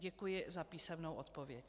Děkuji za písemnou odpověď.